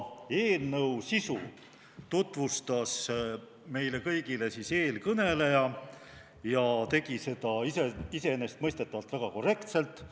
Eelnõu sisu tutvustas meile kõigile eelkõneleja ja tegi seda iseenesestmõistetavalt väga korrektselt.